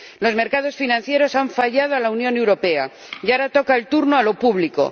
Los mercados financieros le han fallado a la Unión Europea y ahora le toca el turno a lo público.